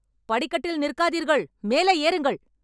படிக்கட்டில் நிற்காதீர்கள் மேலே ஏறுங்கள்